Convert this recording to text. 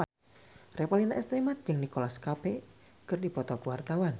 Revalina S. Temat jeung Nicholas Cafe keur dipoto ku wartawan